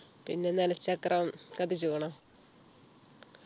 പിന്നെ നിലച്ചക്രം കത്തിച്ചിക്കുണോ